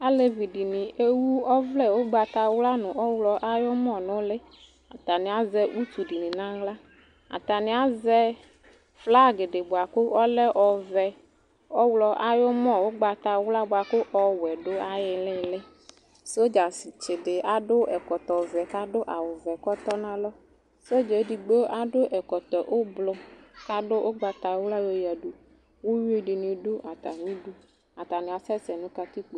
Alevidɩnɩ ewu ɔvlɛ ʋgbatawla nʋ ɔɣlɔ ayʋmɔ n'ʋlɩ , atanɩ azɛ utudɩnɩ n'aɣla Atanɩazɛ llag dɩ bʋa kʋ 'ɔlɛ ɔvɛ , ɔɣlɔ, ay'ʋmɔ ʋgbatawla bʋakʋ ɔwɛ dʋ ay'ɩɩlɩɩlɩ Sedastsɩdɩ akɔ ɛkɔtɔvɛ k'adʋ awʋvɛ k'ɔtɔ nʋ alɔ Sɔdzɛɛ edigbo akɔ ɛkɔtɔ ʋblʋ k'adʋ ʋgbatawla yoyǝdu Uyuidɩnɩ dʋ atamidu , atanɩasɛ sɛ nʋ katikpo